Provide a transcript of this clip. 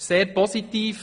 Das ist sehr positiv.